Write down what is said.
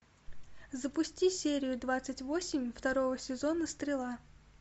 запусти серию двадцать восемь второго сезона стрела